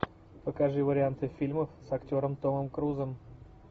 покажи варианты фильмов с актером томом крузом